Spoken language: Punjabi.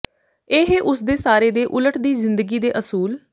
ਇਹ ਉਸ ਦੇ ਸਾਰੇ ਦੇ ਉਲਟ ਦੀ ਜ਼ਿੰਦਗੀ ਦੇ ਅਸੂਲ